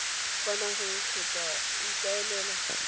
kwa nageng kgotsa o ikaelela